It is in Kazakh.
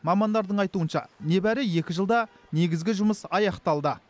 мамандардың айытуынша нәбәрі екі жылда негізгі жұмыс аяқталды